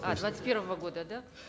а двадцать первого года да